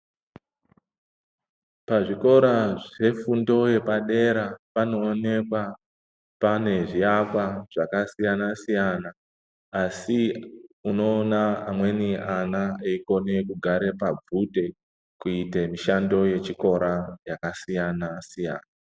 Pazvikora zvefundo yepadera panoonekwa pane zviakwa zvakasiya-siyana, asi unoona amweni ana, eikone kugare pabvute, kuite mishando yechikora, yakasiyana-siyana.